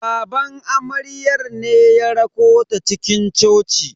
Baban amaryar ne ya rakota cikin coci.